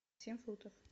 семь футов